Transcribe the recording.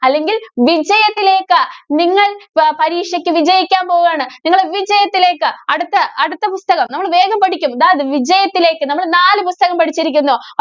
അല്ലെങ്കില്‍ വിജയത്തിലേക്ക് നിങ്ങള്‍ പ~പരീക്ഷയ്ക്ക് വിജയിക്കാന്‍ പോവുകയാണ്. നിങ്ങള് വിജയത്തിലേക്ക്. അടുത്ത അടുത്ത പുസ്തകം. നമ്മള് വേഗം പഠിക്കും. ദാ വിജയത്തിലേക്ക്, നമ്മള് നാല് പുസ്തകം പഠിച്ചിരിക്കുന്നു.